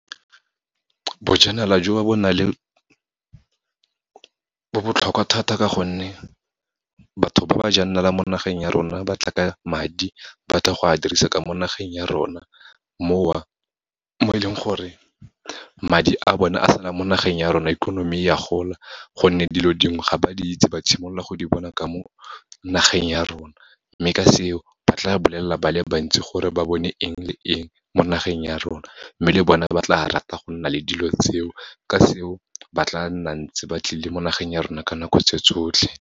Bojanala jo bo botlhokwa thata ka gonne, batho ba ba jang naala mo nageng ya rona, ba tla ka madi, ba tla go a dirisa ka mo nageng ya rona, mo e leng gore madi a bone a sala mo nageng ya rona, ikonomi ya gola, gonne dilo dingwe ga ba di itse, ba simolola go di bona ka mo nageng ya rona. Mme ka seo, ba tla bolelela ba le bantsi gore ba bone eng le eng mo nageng ya rona, mme le bone ba tla rata go nna le dilo tseo, ka seo ba tla nna ntse ba tlile mo nageng ya rona ka nako tse tsotlhe.